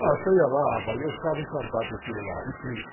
Nossa, eu ia lá, rapaz, eu ficava encantado com aquilo lá e triste.